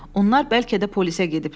Onlar bəlkə də polisə gediblər.